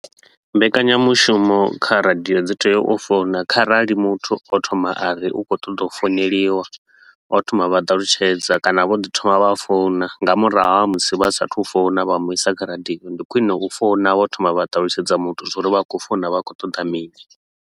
Mbekanyamushumo kha radio dzi tea u founa kharali muthu o thoma a ri u khou ṱoḓa u founeliwa. O thoma a vha ṱalutshedza kana vho ḓi thoma vha founa nga murahu ha musi vha sa a thu u founa vha mu i sa kha radio, ndi khwine u founa vho thoma vha ṱalutshedza muthu zwa uri vha khou founa vha khou ṱoḓa mini.